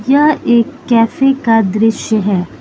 यह एक कैफे का दृश्य है।